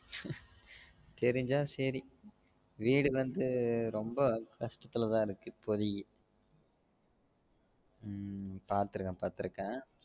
தெரிஞ்சா சரி வீடு வந்து ரொம்ப கஷ்டத்துல தான் இருக்கு இப்போதைக்கு உம் பாத்துருக்கன் பாத்துருக்கன்